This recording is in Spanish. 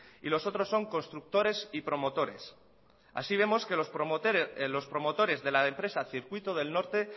y los otros son constructores y promotores así vemos que los promotores de la empresa circuito del norte